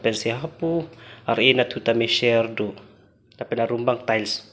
pensi hapu ar eh anathu tame share do lapen arum abang tiles .